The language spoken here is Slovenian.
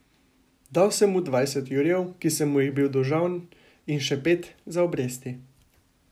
Dal sem mu dvajset jurjev, ki sem mu jih bil dolžan, in še pet za obresti.